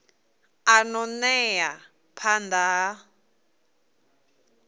a ṱo ḓea phanḓa ha